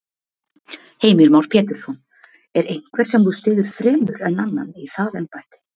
Heimir Már Pétursson: Er einhver sem þú styður fremur en annan í það embætti?